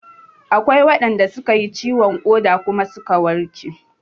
Akwai waɗanda suka yi ciwon ƙoda kuma suka warke